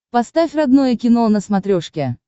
поставь родное кино на смотрешке